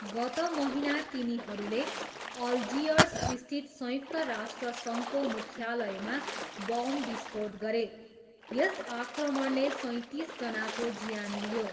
गत महिना तिनीहरूले अल्जियर्सस्थित संयुक्त राष्ट्रसङ्घको मुख्यालयमा बम विस्फोट गरे, यस आक्रमणले सैँतिसजनाको ज्यान लियो।